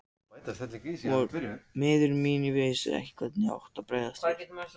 Ég var miður mín og vissi ekki hvernig ég átti að bregðast við.